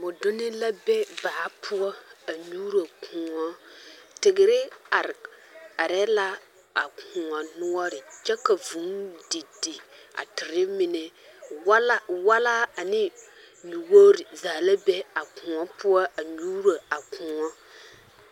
Boduni la be baa poɔ a nyuuro koɔ teere are are la a koɔ noɔre kyɛ ka vuu di di a teere mine wala wallaa ane nyuwogre zaa la be a koɔ poɔ a nyuuro a Koɔ.